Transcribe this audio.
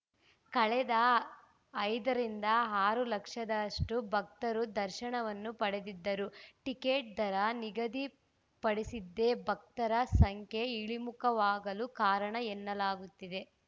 ಕಳೆದ ಐದರಿಂದ ಆರು ಲಕ್ಷದಷ್ಟುಭಕ್ತರು ದರ್ಶನವನ್ನು ಪಡೆದಿದ್ದರು ಟಿಕೆಟ್‌ ದರ ನಿಗದಿ ಪಡಿಸಿದ್ದೇ ಭಕ್ತರ ಸಂಖ್ಯೆ ಇಳಿಮುಖವಾಗಲು ಕಾರಣ ಎನ್ನಲಾಗುತ್ತಿದೆ